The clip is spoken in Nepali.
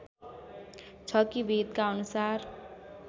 छ कि वेदका अनुसार